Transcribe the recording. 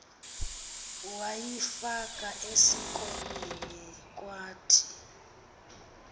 wayifaka esikolweni kwathi